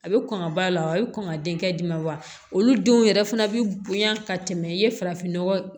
A bɛ kɔn ka b'a la wa a bɛ kɔn ka denkɛ d'i ma wa olu denw yɛrɛ fana bɛ bonya ka tɛmɛ i ye farafin nɔgɔ